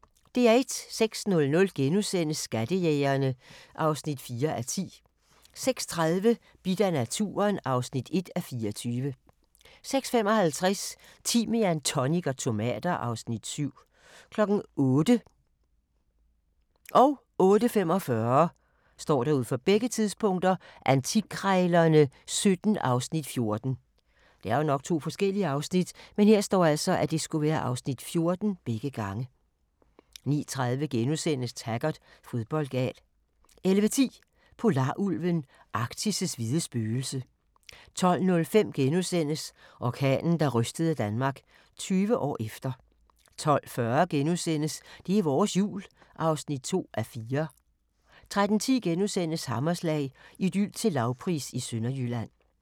06:00: Skattejægerne (4:10)* 06:30: Bidt af naturen (1:24) 06:55: Timian, tonic og tomater (Afs. 7) 08:00: Antikkrejlerne XVII (Afs. 14) 08:45: Antikkrejlerne XVII (Afs. 14) 09:30: Taggart: Fodboldgal * 11:10: Polarulven – Arktis' hvide spøgelse 12:05: Orkanen, der rystede Danmark – 20 år efter * 12:40: Det er vores Jul (2:4)* 13:10: Hammerslag – Idyl til lavpris i Sønderjylland *